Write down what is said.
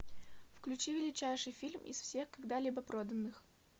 включи величайший фильм из всех когда либо проданных